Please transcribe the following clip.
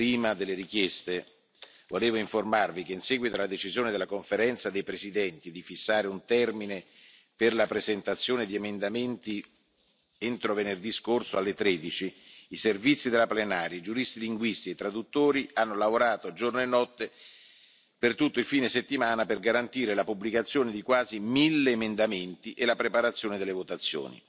Prima delle richieste volevo informarvi che, in seguito alla decisione della Conferenza dei Presidenti di fissare un termine per la presentazione di emendamenti entro venerdì scorso alle 13, i servizi della Plenaria, i giuristi linguisti e i traduttori hanno lavorato giorno e notte per tutto il fine settimana per garantire la pubblicazione di quasi mille emendamenti e la preparazione delle votazioni.